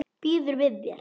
Býður við þér.